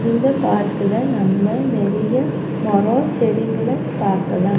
இந்த பார்க்குல நம்ம நெறைய மரோ செடிங்கள பாக்கலா.